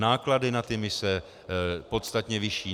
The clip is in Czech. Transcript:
Náklady na ty mise, podstatně vyšší.